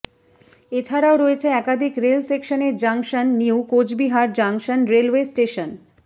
এছাড়া রয়েছে একাধিক রেল সেকশনের junction new Coochbehar junction railway station